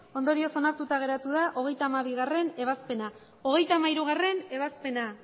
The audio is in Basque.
ondorioz onartuta geratu da hogeita hamabigarrena ebazpena hogeita hamairugarrena ebazpena